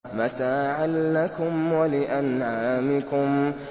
مَتَاعًا لَّكُمْ وَلِأَنْعَامِكُمْ